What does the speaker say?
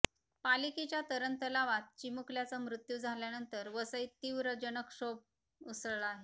पालिकेच्या तरणतलावात चिमुकल्याचा मृ्त्यू झाल्यानंतर वसईत तीव्र जनक्षोभ उसळला आहे